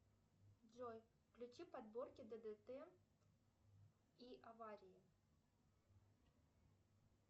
джой включи подборки ддт и аварии